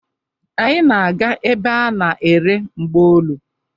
Anyị na-aga ebe a na-ere mgbaolu.